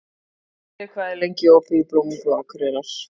Jörri, hvað er lengi opið í Blómabúð Akureyrar?